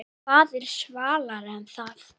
Hvað er svalara en það?